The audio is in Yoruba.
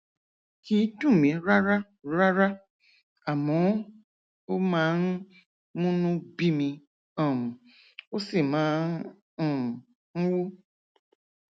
kì í dùn mí rárá rárá àmọ ó máa ń múnú bími um ó sì máa um ń wú